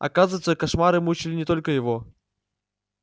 оказывается кошмары мучили не только его